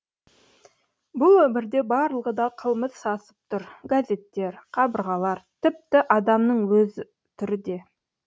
бұл өмірде барлығы да қылмыс сасып тұр газеттер қабырғалар тіпті адамның өз түрі де